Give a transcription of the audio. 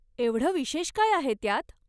एवढं विशेष काय आहे त्यात?